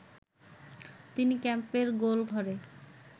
তিনি ক্যাম্পের গোল ঘরে